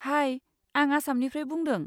हाय! आं आसामनिफ्राय बुंदों।